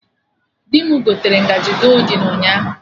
Dị mụ gotere ngaji goldin ụnyaahụ